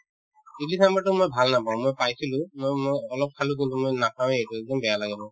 ইদলি ছামভাৰতো মই ভাল নাপাওঁ মই পাইছিলো ম মই অলপ খালো কিন্তু মই নাখাৱয়ে এইটো একদম বেয়া লাগে মোৰ